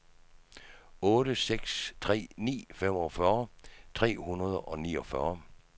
otte seks tre ni femogfyrre tre hundrede og niogfyrre